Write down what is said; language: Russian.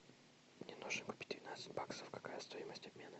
мне нужно купить двенадцать баксов какая стоимость обмена